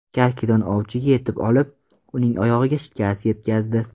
Karkidon ovchiga yetib olib, uning oyog‘iga shikast yetkazdi.